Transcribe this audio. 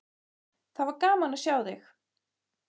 Það var gaman að sjá þig!